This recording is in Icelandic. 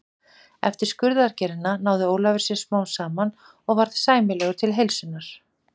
Eftir skurðaðgerðina náði Ólafur sér smám saman og varð sæmilegur til heilsunnar.